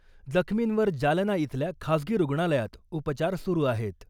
जखमींवर जालना इथल्या खाजगी रुग्णालयात उपचार सुरू आहेत .